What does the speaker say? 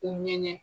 U ŋɛɲɛ